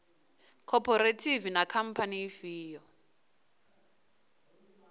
khophorethivi na khamphani ndi ifhio